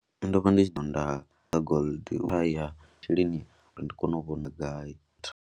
Ndo vha ndi tshi ḓo nda nga gold a ya masheleni uri ndi kone u vhona gai.